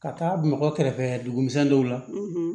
Ka taa bamakɔ kɛrɛfɛ duguminɛn dɔw la